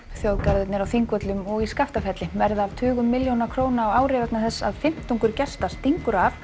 þjóðgarðarnir á Þingvöllum og í Skaftafelli verða af tugum milljóna á ári vegna þess að fimmtungur gesta stingur af